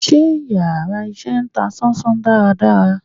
Njẹ íyarà iṣẹ ta sán-sán dàra dàrá?